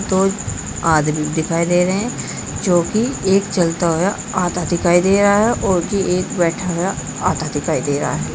दो आदमी दिखाई दे रहे हैं जो की एक चलता हुआ आधा दिखाई दे रहा है और की एक बैठा हुआ आधा दिखाई दे रहा है।